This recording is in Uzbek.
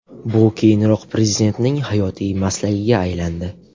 Bu keyinroq Prezidentning hayotiy maslagiga aylandi.